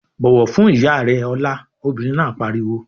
"Bọ̀wọ̀ fún ìyá rẹ Ọlá!" Obìnrin náà pariwo.